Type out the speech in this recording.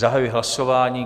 Zahajuji hlasování.